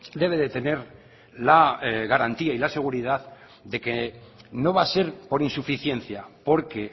debe de tener la garantía y la seguridad de que no va a ser por insuficiencia porque